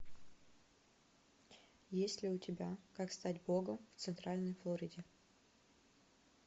есть ли у тебя как стать богом в центральной флориде